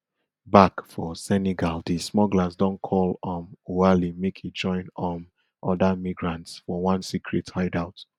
back for senegal di smugglers don call um oualy make e join um oda migrants for one secret hideout